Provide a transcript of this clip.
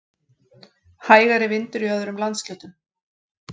Hægari vindur í öðrum landshlutum